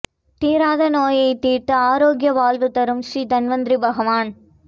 தீராத நோய் தீர்த்து ஆரோக்கிய வாழ்வு தரும் ஸ்ரீ தன்வந்திரி பகவான்